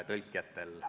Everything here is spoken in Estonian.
Aitäh!